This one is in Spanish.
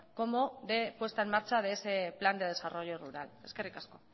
como de puesta en marcha de ese plan de desarrollo rural eskerrik asko